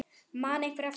Man einhver eftir honum?